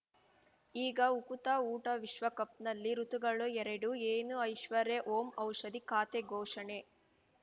ಈಗ ಉಕುತ ಊಟ ವಿಶ್ವಕಪ್‌ನಲ್ಲಿ ಋತುಗಳು ಎರಡು ಏನು ಐಶ್ವರ್ಯಾ ಓಂ ಔಷಧಿ ಖಾತೆ ಘೋಷಣೆ